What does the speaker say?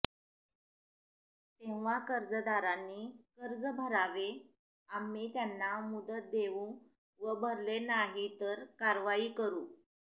तेव्हा कर्जदारांनी कर्ज भरावे आम्ही त्याना मुदत देवू व भरले नाही तर कारवाई करु